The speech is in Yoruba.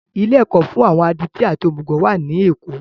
Ilé ẹ̀kọ́ fún àwọn adití àti òmùgọ̀ wà ní èkó